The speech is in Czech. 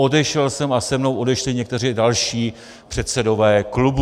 Odešel jsem a se mnou odešli někteří další předsedové klubů.